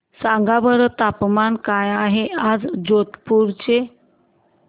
सांगा बरं तापमान काय आहे आज जोधपुर चे